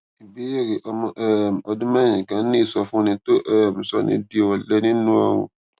ìbéèrè ọmọ um ọdún mérin kan ní ìsọfúnni tó um ń sọni di òlẹ nínú ọrùn